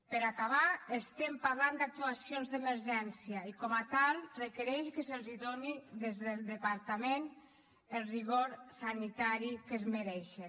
per a acabar estem parlant d’actuacions d’emergència i com a tal requereix que se’ls doni des del departament el rigor sanitari que es mereixen